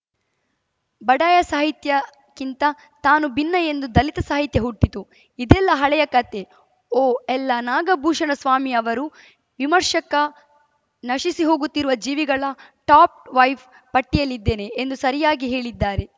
ಬಡಾಯ ಸಾಹಿತ್ಯಕ್ಕಿಂತ ತಾನು ಭಿನ್ನ ಎಂದು ದಲಿತ ಸಾಹಿತ್ಯ ಹುಟ್ಟಿತು ಇದೆಲ್ಲಾ ಹಳೆಯ ಕಥೆ ಓಎಲ್ಲಾ ನಾಗಭೂಷಣಸ್ವಾಮಿಯವರು ವಿಮರ್ಶಕ ನಶಿಸಿಹೋಗುತ್ತಿರುವ ಜೀವಿಗಳ ಟಾಪ್‌ ವೈಫ್ ಪಟ್ಟಿಯಲ್ಲಿದ್ದೇನೆ ಎಂದು ಸರಿಯಾಗಿ ಹೇಳಿದ್ದಾರೆ